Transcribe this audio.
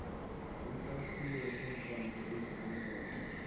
isakhiwo senkonzo eziluncedo